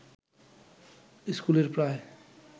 স্কুলের প্রায়